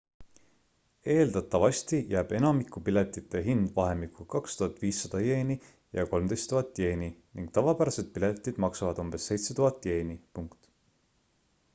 eeldatavasti jääb enamiku piletite hind vahemikku 2500 ¥ ja 13 0000 ¥ ning tavapärased piletid maksavad umbes 7000 ¥